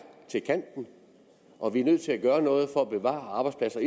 til kanten og vi er nødt til at gøre noget for at bevare arbejdspladser